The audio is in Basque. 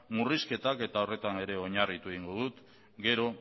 murrizketak eta horretan ere oinarritu egin dut gero